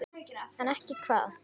En ekki hvað?